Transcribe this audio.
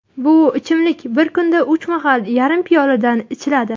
Bu ichimlik bir kunda uch mahal yarim piyoladan ichiladi.